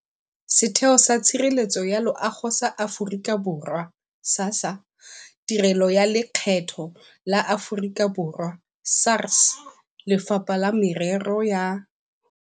Setheo sa Tshireletso ya Loago sa Aforika Borwa, SASSA, Tirelo ya Lekgetho la Aforika Borwa, SARS, Lefapha la Merero ya